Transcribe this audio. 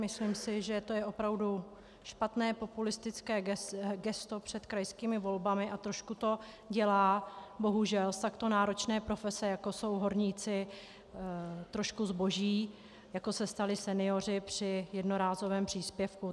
Myslím si, že to je opravdu špatné, populistické gesto před krajskými volbami a trošku to dělá, bohužel, z takto náročné profese, jako jsou horníci, trošku zboží, jako se stali senioři při jednorázovém příspěvku.